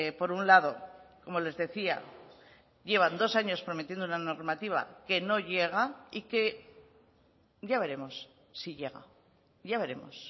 por un lado como les decía llevan dos años prometiendo la normativa que no llega y que ya veremos si llega ya veremos